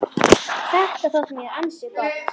Þetta þótti mér ansi gott.